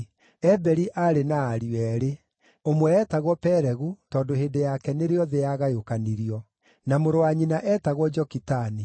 Eberi aarĩ na ariũ eerĩ: Ũmwe eetagwo Pelegu, tondũ hĩndĩ yake nĩrĩo thĩ yagayũkanirio; na mũrũ wa nyina eetagwo Jokitani.